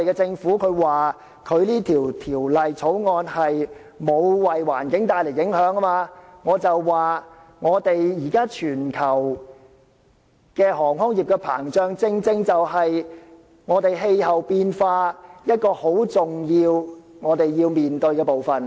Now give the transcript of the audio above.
政府現時說《條例草案》並沒有為環境帶來影響，我想指出，現時全球航空業膨脹，正正是面對氣候變化一個很重要的部分。